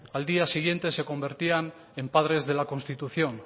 al día siguiente se convertían en padres de la constitución